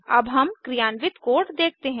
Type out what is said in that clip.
अब हम क्रियान्वित कोड देखते हैं